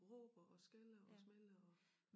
Råber og skælder og smælder og